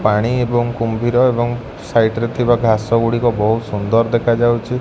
ପାଣି ଏବଂ କୁମ୍ଭୀର ଏବଂ ସାଇଟ୍ ରେ ଥିବା ଘାସଗୁଡ଼ିକ ବୋହୁତ ସୁନ୍ଦର ଦେଖାଯାଉଛି।